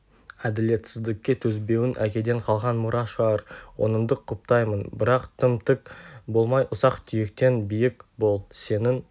әділетсіздікке төзбеуің әкеден қалған мұра шығар оныңды құптаймын бірақ тым тік болмай ұсақ-түйектен биік бол сенің